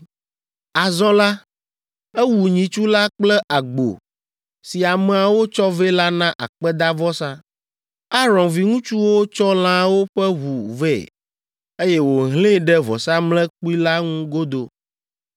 Azɔ la, ewu nyitsu la kple agbo si ameawo tsɔ vɛ la na akpedavɔsa. Aron viŋutsuwo tsɔ lãawo ƒe ʋu vɛ, eye wòhlẽe ɖe vɔsamlekpui la ŋu godoo.